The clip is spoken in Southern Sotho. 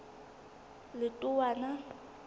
letowana